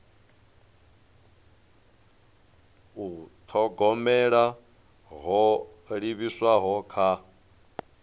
u thogomela ho livhiswaho kha